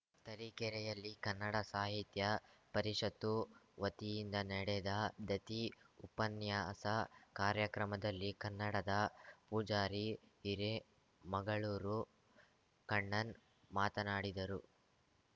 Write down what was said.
ತರೀಕೆರೆಯಲ್ಲಿ ಕನ್ನಡ ಸಾಹಿತ್ಯ ಪರಿಷತ್ತು ವತಿಯಿಂದ ನೆಡೆದ ದತಿ ಉಪನ್ಯಾಸ ಕಾರ್ಯಕ್ರಮದಲ್ಲಿ ಕನ್ನಡದ ಪೂಜಾರಿ ಹಿರೇಮಗಳೂರು ಕಣ್ಣನ್‌ ಮಾತನಾಡಿದರು